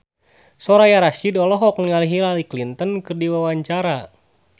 Soraya Rasyid olohok ningali Hillary Clinton keur diwawancara